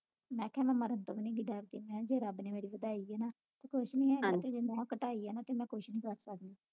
ਮੈਂ ਕਿਹਾ ਮੈਂ ਮਰਨ ਤੋਂ ਵੀ ਨਹੀ ਡਰਦੀ ਮੈਂ ਕਿਹਾ ਜੇ ਰੱਬ ਨੇ ਵਧਾਈ ਆ ਨਾ ਤੇ ਕੁਛ ਨਹੀਂ ਹੈਗਾ ਜੇ ਘਟਾਈ ਆ ਨਾ ਤੇ ਮੈਂ ਕੁਛ ਨਹੀਂ ਕਰ ਸਕਦੀ